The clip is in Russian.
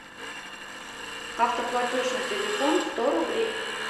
автоплатеж на телефон сто рублей